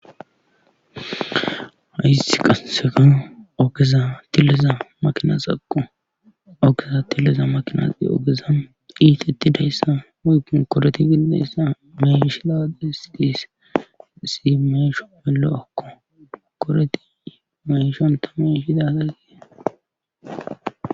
Haissi qassefano ogeza tilliza maqinasaqo okeza tilleza makinaxi ogezan iitettidayssa moykon koreti gidinayssa mayshida des dis si meysho melo'akko koreti mayshon tamay fidazagie.